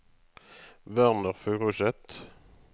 Werner Furuseth